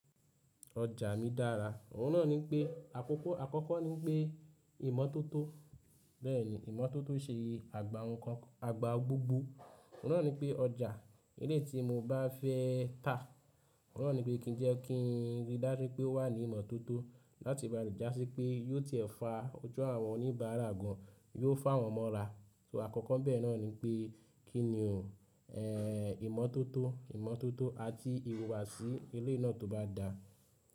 Oja mi dara, oun naa ni pe akoko, akoko ni pe imototo, beeni imototo se agba nkan, agba gbogbo oun naa ni pe oja eleyii ti mo ba fe ta oun naa ni pe kin je kin ri daju pe o wa ni imototo lati ba ri jasi pe yio ti e fa oju awon onibara gan, yio fa won mora, so akoko bee naa ni pe kini un, eeh imototo, imototo ati ihuwasi eleyii naa to ba da.